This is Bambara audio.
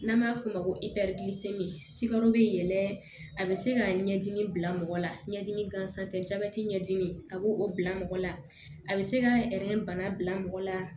N'an b'a f'o ma ko sikaro bɛ yɛlɛn a bɛ se ka ɲɛdimi bila mɔgɔ la ɲɛdimi gansan tɛ jabɛti ɲɛdimi a b'o o bila mɔgɔ la a bɛ se ka bana bila mɔgɔ la